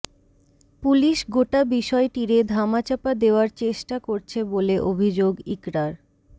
police গোটা বিষয়টিরে ধামাচাপা দেওয়ার চেষ্টা করছে বলে অভিযোগ ইকরার